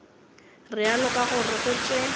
realo ka gore go tše